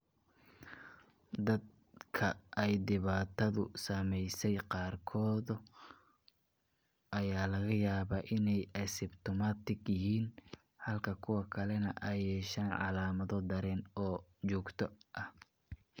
Dadka ay dhibaatadu saameysey qaarkood ayaa laga yaabaa inay asymptomatic yihiin halka kuwa kalena ay yeeshaan calaamado daran oo joogto ah.